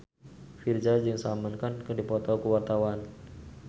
Virzha jeung Salman Khan keur dipoto ku wartawan